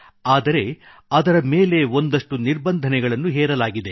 ಆದರೆ ಅದರ ಮೇಲೆ ಒಂದಷ್ಟು ನಿರ್ಭಂಧನೆಗಳನ್ನು ಹೇರಲಾಗಿದೆ